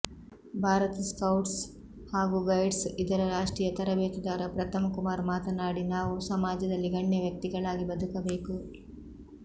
Bharat scouts ಹಾಗೂ guides ಇದರ ರಾಷ್ಟ್ರೀಯ ತರಬೇತುದಾರ ಪ್ರತಿಮ್ ಕುಮಾರ್ ಮಾತನಾಡಿ ನಾವು ಸಮಾಜದಲ್ಲಿ ಗಣ್ಯ ವ್ಯಕ್ತಿಗಳಾಗಿ ಬದುಕಬೇಕು